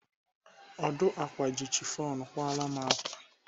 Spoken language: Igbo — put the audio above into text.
Ọdụ ákwà ji chifọn kwara m ákwà.